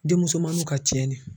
Denmusomaninw ka cɛnni ye.